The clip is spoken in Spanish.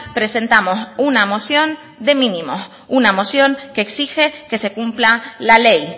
presentamos una moción de mínimos una moción que exige que se cumpla la ley